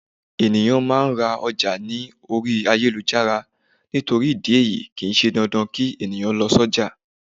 Eyan maa ma ra oja ni ori ayelujara nitori idi eyii, kii se dandan ki eniyan lo si oja